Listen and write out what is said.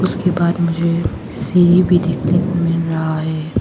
उसके बाद मुझे सीढ़ी भी देखने को मिल रहा है।